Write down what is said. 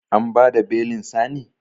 An bada belin Sani?